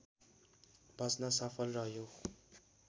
बच्न सफल रह्यो